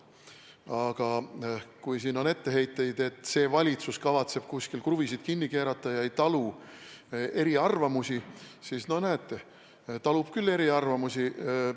Aga kui teil on etteheiteid, et see valitsus kavatseb kuskil kruvisid kinni keerata ega talu eriarvamusi, siis näete, talub küll eriarvamusi.